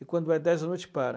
E quando é dez da noite, para.